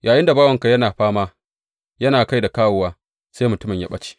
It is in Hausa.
Yayinda bawanka yana fama, yana kai da kawowa, sai mutumin ya ɓace.